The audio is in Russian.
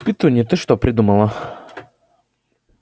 петунья ты что придумала